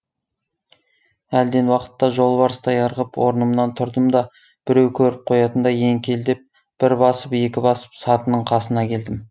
әлден уақытта жолбарыстай ырғып орнымнан тұрдым да біреу көріп қоятындай еңкелдеп бір басып екі басып сатының қасына келдім